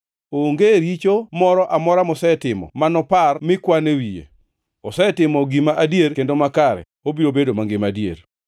Onge richo moro amora mosetimo ma nopar mi kwan e wiye. Osetimo gima adier kendo makare, obiro bedo mangima adier.